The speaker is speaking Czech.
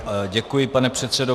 Děkuji, pane předsedo.